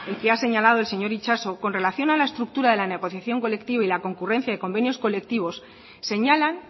que ha señalado el señor itxaso con relación a la estructura de la negociación colectiva y la concurrencia de convenios colectivos señalan